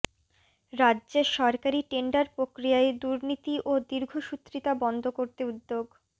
রাজ্যে সরকারি টেন্ডার প্রক্রিয়ায় দুর্নীতি ও দীর্ঘসূত্রিতা বন্ধ করতে উদ্যোগ